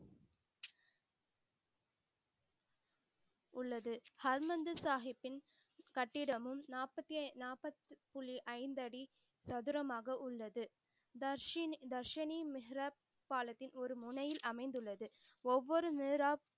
உள்ளது. ஹர்மந்திர் சாஹிபின் கட்டடமும் நாப்பத்தி நாப்பது புள்ளி ஐந்து அடி சதுரமாக உள்ளது. தர்ஷன் தர்ஷினி மிஹ்ரப் பாலத்தில் ஒரு முனையில் அமைந்து உள்ளது. ஒவ்வொரு மிஹரப்,